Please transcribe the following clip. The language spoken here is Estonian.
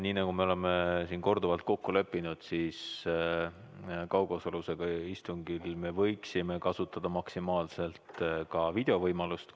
Nii nagu me oleme siin korduvalt kokku leppinud, me võiksime kaugosalusega istungil kasutada maksimaalselt ka videovõimalust.